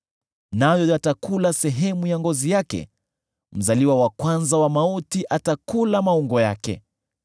Nayo yatakula sehemu ya ngozi yake; mzaliwa wa kwanza wa mauti atakula maungo yake.